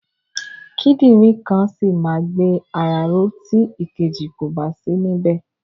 Kídìrìn kan ṣì ma gbé ara ró tí ìkejì kòbá sí ní bẹ̀.